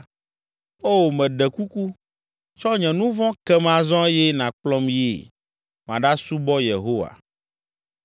Oo, meɖe kuku, tsɔ nye nu vɔ̃ kem azɔ eye nàkplɔm yi, maɖasubɔ Yehowa.”